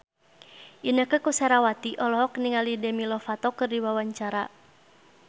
Inneke Koesherawati olohok ningali Demi Lovato keur diwawancara